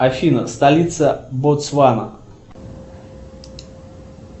афина столица ботсвана